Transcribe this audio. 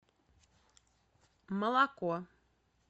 молоко